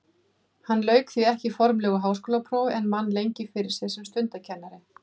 Hann lauk því ekki formlegu háskólaprófi en vann lengi fyrir sér sem stundakennari.